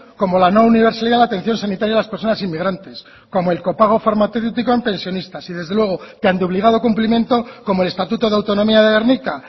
como la no universalidad a la atención sanitaria de las personas inmigrantes como el copago farmacéutico en pensionistas y desde luego de tan obligado cumplimiento como el estatuto de autonomía de gernika